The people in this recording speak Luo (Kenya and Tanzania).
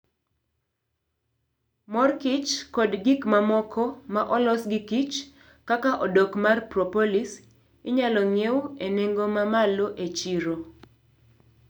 mor kich kod gik mamoko ma olos gi kich, kaka odok mar propolis, inyalo ng'iew e nengo ma malo e chiro.